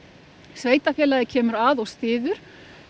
sveitarfélagið kemur að og styður